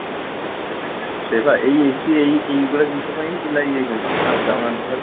ସେଇ ପା ଏଇ AC ଏଇ ଏଇଗୁଡା ଜିନିଷ ପାଇଁ ହିଁ ପିଲା ଇଏ ହେଇଯାଉଛନ୍ତି ଆଉ ଯାଉ ନାହାନ୍ତି ଘରକୁ